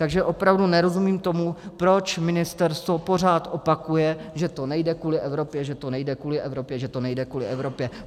Takže opravdu nerozumím tomu, proč ministerstvo pořád opakuje, že to nejde kvůli Evropě, že to nejde kvůli Evropě, že to nejde kvůli Evropě.